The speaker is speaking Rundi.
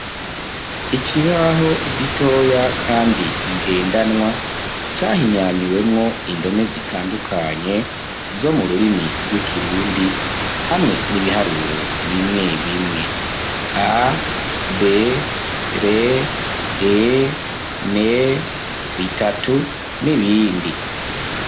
Ikibaho gitoya kandi ngendanwa cahinyanyuwemwo indome zitandukanye zo mu rurimi rw'ikirundi hamwe n'ibiharuro bimwe bimwe a, b, r, e, n, bitatu n'ibindi.